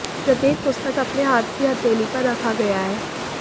प्रत्येक पुस्तक अपने हाथ की हथेली पर रखा गया है